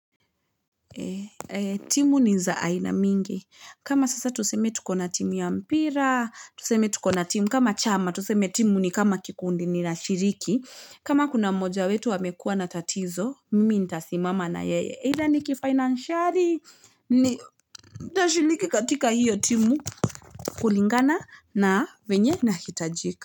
Timu ni za aina mingi. Kama sasa tuseme tukona timu ya mpira, tuseme tukona timu kama chama, tuseme timu ni kama kikundi ninashiriki. Kama kuna moja wetu amekuwa na tatizo, mimi nitasimama na yeye. Eitha nikifinanciali nitashiriki katika hiyo timu. Kulingana na venye nahitajika.